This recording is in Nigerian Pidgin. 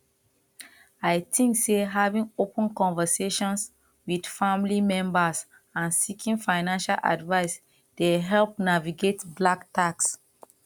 i dey think say having open conversations with family members and seeking financial advice dey help navigate black tax